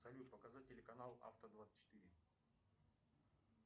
салют показать телеканал авто двадцать четыре